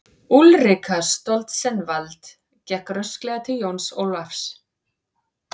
Úlrika Stoltzenwald gekk rösklega til Jóns Ólafs.